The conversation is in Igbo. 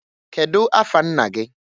Kedu afa nna gị?